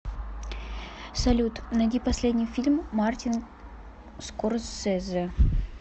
салют найди последний фильм мартин скорсезе